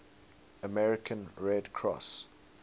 american red cross